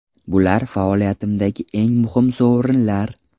Bular faoliyatimdagi eng muhim sovrinlar.